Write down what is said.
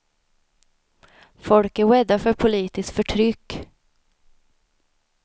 Folk är rädda för politiskt förtryck.